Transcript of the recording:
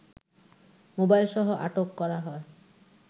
মোবাইলসহ আটক করা হয়